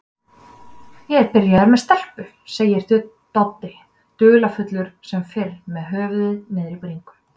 Ég er byrjaður með stelpu, segir Doddi, dularfullur sem fyrr með höfuðið niðri í bringu.